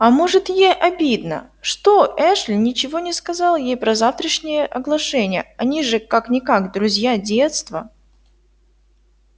а может ей обидно что эшли ничего не сказал ей про завтрашнее оглашение они же как-никак друзья детства